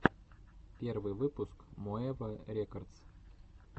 первый выпуск моэва рекодс